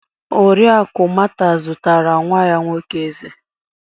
Oriakụ Mata zụtara nwa ya nwoke ezé.